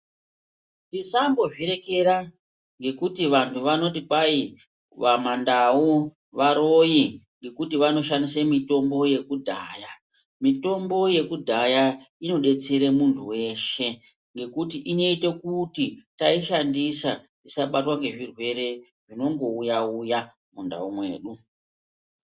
Musambo zvirekera ngekuti vantu vanoti kwai vamandau varoyi ngekuti vanoshandise mutombo yekudhaya. Mitombo yekudhaya inodetsera muntu veshe ngekuti inoite kuti taishandisa tisabatwa ngezvirwere zvinongouya uya mundau mwedu.